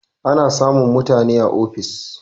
Ana samun mutani a ofis